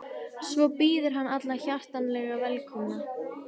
Svo býður hann alla hjartanlega velkomna.